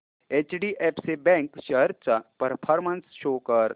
HDFC bank shares चा performance show कर